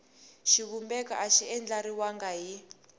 xivumbeko a xi andlariwangi hi